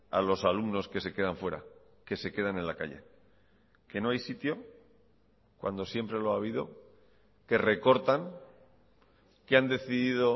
a los alumnos que se quedan fuera que se quedan en la calle qué no hay sitio cuándo siempre lo ha habido que recortan que han decidido